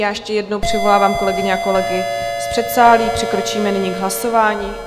Já ještě jednou přivolávám kolegyně a kolegy z předsálí, přikročíme nyní k hlasování.